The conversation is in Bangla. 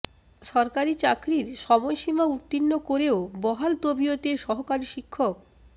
সরকারি চাকরির সময় সীমা উত্তীর্ণ করেও বহাল তবিয়তে সহকারী শিক্ষক